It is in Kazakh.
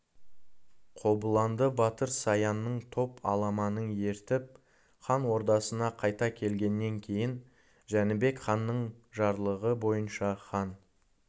қобыланды батыр саянның топ аламанын ертіп хан ордасына қайта келгеннен кейін жәнібек ханның жарлығы бойынша хан